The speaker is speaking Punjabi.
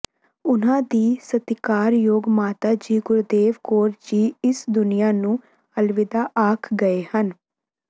ਉਨ੍ਹਾਂ ਦੀ ਸਤਿਕਾਰਯੋਗ ਮਾਤਾ ਜੀ ਗੁਰਦੇਵ ਕੌਰ ਜੀ ਇਸ ਦੁਨੀਆ ਨੂੰ ਅਲਵਿਦਾ ਆਖ ਗਏ ਹਨ